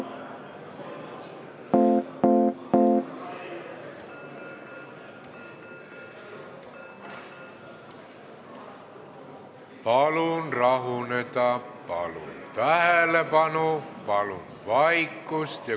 Palun rahuneda, palun tähelepanu, palun vaikust!